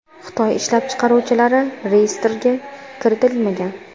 Xitoy ishlab chiqaruvchilari reyestrga kiritilmagan.